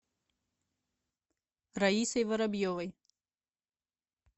раисой воробьевой